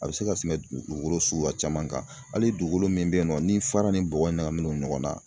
A bɛ se ka tɛmɛ dugugolo suguya caman kan, hali dugukolo min bɛ yen nɔ ni fara ni bɔgɔ ɲagaminen don ɲɔgɔnna.